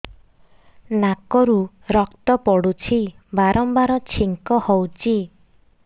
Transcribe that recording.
ନାକରୁ ରକ୍ତ ପଡୁଛି ବାରମ୍ବାର ଛିଙ୍କ ହଉଚି